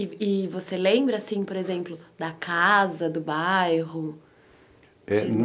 E e você lembra assim, por exemplo, da casa, do bairro?